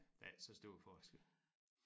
Der er ikke så stor forskel